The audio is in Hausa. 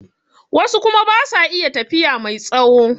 Wasu kuma basu iya tafiya mai tsawo